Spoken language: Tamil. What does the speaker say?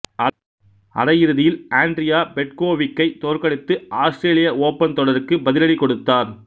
அரையிறுதியில் ஆண்ட்ரியா பெட்கோவிக் ஐ தோற்கடித்து ஆஸ்திரேலிய ஓப்பன் தொடருக்கு பதிலடி கொடுத்த்தார்